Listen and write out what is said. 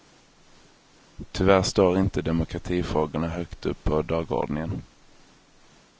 Tyvärr står inte demokratifrågorna högt upp på dagordningen.